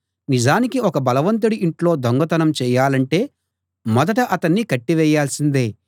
నిజానికి ఒక బలవంతుడి ఇంట్లో దొంగతనం చేయాలంటే మొదట అతణ్ణి కట్టివేయాల్సిందే